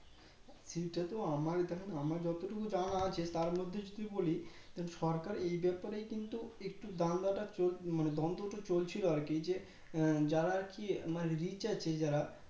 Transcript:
সেটা তো আমার দেখেন আমার যতটুকু জানা আছে তার মধ্যে যদি বলি সরকার এই ব্যাপারেই কিন্তু একটু বাংলাটা চল মানে দ্বন্দ্বটা চলছিল আর কি এই যে আ যারা আর কি মানে Rich আছে যারা